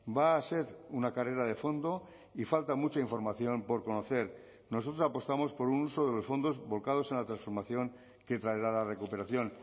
va a ser una carrera de fondo y falta mucha información por conocer nosotros apostamos por un uso de los fondos volcados en la transformación que traerá la recuperación